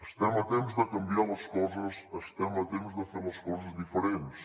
estem a temps de canviar les coses estem a temps de fer les coses diferents